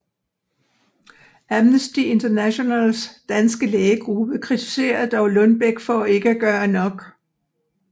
Amnesty Internationals danske lægegruppe kritiserede dog Lundbeck for ikke at gøre nok